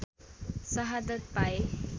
सहादत पाए